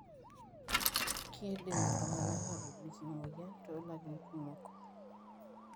Kindim iltunganaa atobiki emoyian tolarin kumok.